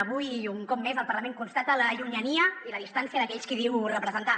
avui i un cop més el parlament constata la llunyania i la distància d’aquells qui diu representar